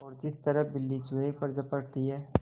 और जिस तरह बिल्ली चूहे पर झपटती है